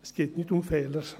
Es geht nicht um Fehler.